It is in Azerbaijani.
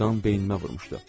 Qan beynimə vurmuşdu.